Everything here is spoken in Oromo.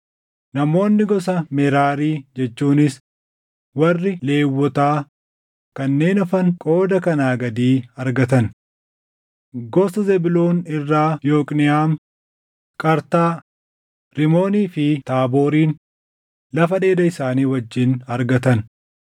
Namoonni gosa Meraarii jechuunis warri Lewwotaa kanneen hafan qooda kanaa gadii argatan: Gosa Zebuuloon irraa Yooqniʼaam, Qartaa, Rimoonii fi Taaboorin lafa dheeda isaanii wajjin argatan;